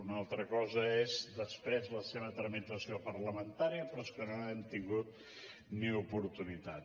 una altra cosa és després la seva tramitació parlamentària però és que no n’hem tingut ni oportunitat